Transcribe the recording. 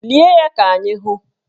Lie ya ka anyị hụ!